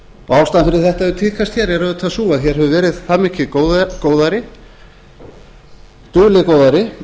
og ástæðan fyrir því að þetta hefur tíðkast hér er auðvitað sú að hér hefur verið það mikið góðæri dulið góðæri